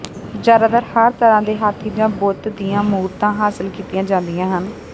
ਜ਼ਿਆਦਾਤਰ ਹਰ ਤਰ੍ਹਾਂ ਦੇ ਹਾਥੀ ਜਾਂ ਬੁੱਤ ਦੀਆਂ ਮੂਰਤਾਂ ਹਾਸਲ ਕੀਤੀਆਂ ਜਾਂਦੀਆਂ ਹਨ